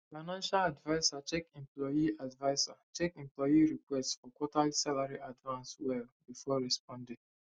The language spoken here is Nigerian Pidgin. financial adviser check employee adviser check employee request for quarterly salary advance well before responding